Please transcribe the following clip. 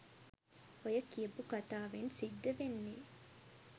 ඔය කියපු කතාවෙන් සිද්ද වෙන්නේ